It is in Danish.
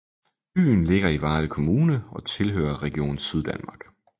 Byen ligger i Varde Kommune og tilhører Region Syddanmark